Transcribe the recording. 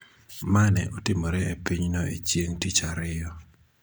ma ne otimore e pinyno e chieng� tich ariyo.